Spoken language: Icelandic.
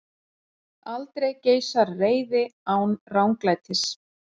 Aldrei geisar reiði án ranglætis.